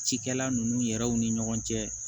Cikɛla nunnu yɛrɛ ni ɲɔgɔn cɛ